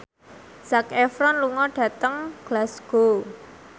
Zac Efron lunga dhateng Glasgow